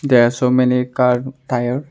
there are so many car tire